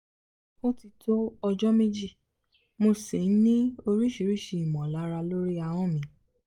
ó ti tó ọjọ́ méjì mo sì ń ní oríṣiríṣi ìmọ̀lára lórí ahọ́n mi